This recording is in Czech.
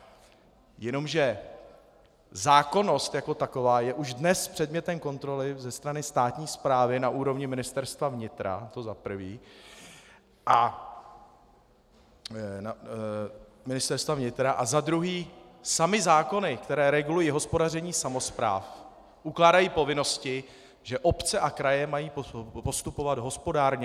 Jenomže zákonnost jako taková je už dnes předmětem kontroly ze strany státní správy na úrovni Ministerstva vnitra, to za prvé, a za druhé samy zákony, které regulují hospodaření samospráv, ukládají povinnosti, že obce a kraje mají postupovat hospodárně.